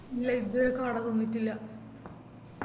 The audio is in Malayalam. ഇല്ല ഇതുവരെ കാട തിന്നിട്ടില്ല